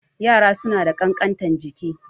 Yara suna da ƙankantar jiki